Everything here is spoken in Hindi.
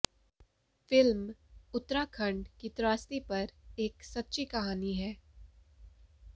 फिल्म उत्तराखंड की त्रासदी पर एक सच्ची कहानी है